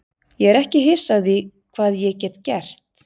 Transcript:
Ég er ekki hissa á því hvað ég get gert.